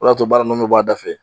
O de y'a to baara nunnu b'a da fɛ